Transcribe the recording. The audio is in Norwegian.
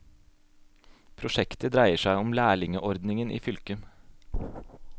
Prosjektet dreier seg om lærlingeordningen i fylket.